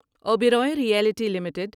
Oberoi realty limited